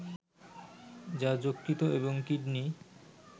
যা যকৃত এবং কিডনি